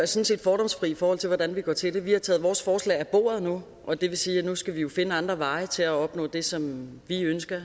set fordomsfri i forhold til hvordan vi går til det vi har taget vores forslag på bordet nu og det vil sige at nu skal vi jo finde andre veje til at opnå det som vi ønsker